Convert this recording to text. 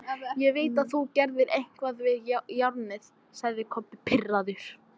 Ég veit þú gerðir eitthvað við járnið, sagði Kobbi pirraður.